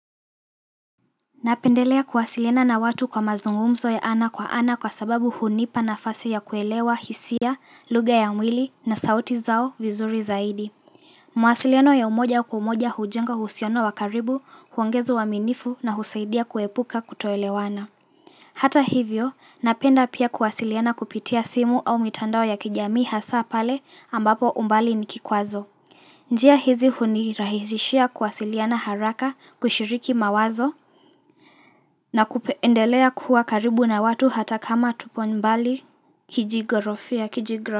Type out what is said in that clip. Napendelea kuwasiliana na watu kwa mazungumzo ya ana kwa ana kwa sababu hunipa na fasi ya kuelewa hisia, luga ya umwili na sauti zao vizuri zaidi. Mawasilino ya umoja kwa umoja hujenga uhusiano wakaribu, huongeza uminifu na husaidia kuepuka kutoelewana. Hata hivyo, napenda pia kuwasiliana kupitia simu au mitandao ya kijamii hasa pale ambapo umbali nikikwazo. Njia hizi hunirahizishia kuwasilina haraka kushiriki mawazo, na kupeendelea kuwa karibu na watu hata kama tupo nbali kijigorofia kijigorofia.